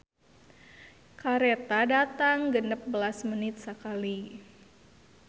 "Kareta datang genep belas menit sakali"